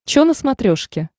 чо на смотрешке